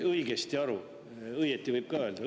"Õieti" võib ka öelda.